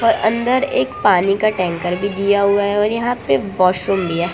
अंदर एक पानी का टैंकर भी दिया हुआ है और यहां पे वॉशरूम लिया --